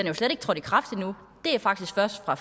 jo slet ikke trådt i kraft endnu det er faktisk først fra